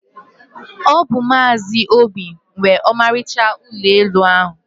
ọ bụ Maazị Obi nwe ọmarịcha ụlọ elu a.